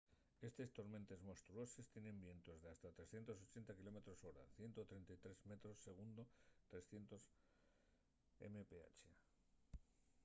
estes tormentes monstruoses tienen vientos d’hasta 380 km/h 133 m/s 300 mph